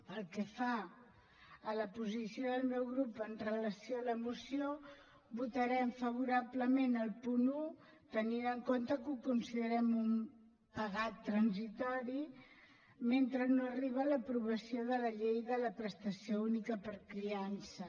pel que fa a la posició del meu grup amb relació a la moció votarem favorablement el punt un tenint en compte que ho considerem un pegat transitori mentre no arriba l’aprovació de la llei de la prestació única per criança